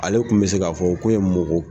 Ale kun bɛ se k'a fɔ ko ye mɔgɔ.